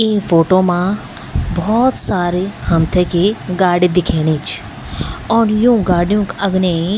इ फोटु मा भौत सारी हमथै कि गाड़ी दिखेणि च और यू गाडियों क अगने --